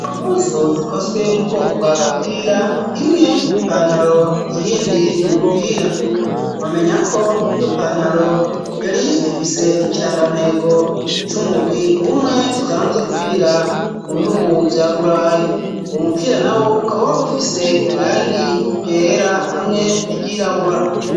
Impuzu zikozwe mu bwoko bwa gapira imwe nipantaro iyindi n umupira amenya ko iyo pantaro yari ifise ikirangantego c'umugwi umwe usanzwe ukinira mu bihugu vya burayi uwo mupira na wo ukaba wari ufise irangi ryera hamwe n'ivyirabura.